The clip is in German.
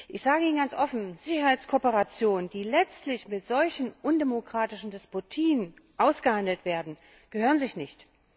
Ich sage Ihnen ganz offen Sicherheitskooperation, die letztlich mit solchen undemokratischen Despotien ausgehandelt werden, gehören sich nicht.